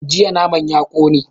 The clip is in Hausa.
Jiya naman ya kone